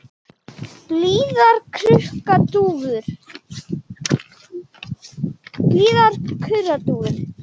Blíðar kurra dúfur.